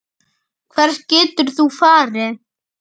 Hvert getur þú farið?